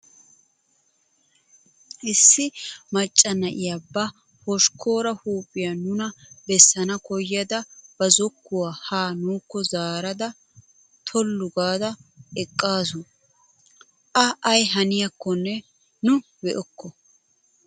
Issi macca na'aiyaa ba hoshkkaara huuphiyaa nuna bessana koyyada ba zokkuwaa haa nukko zaarada tollu gaada eqqaasu. A ayi haniyaakkonne nu be'okko.